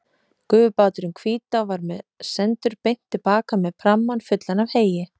Gufubáturinn Hvítá var sendur beint til baka með prammann fullan af heyi.